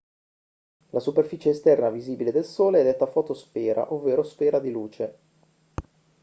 la superficie esterna visibile del sole è detta fotosfera ovvero sfera di luce